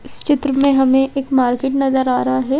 इस चित्र में हमें एक मार्किंग नज़र आ रहा है।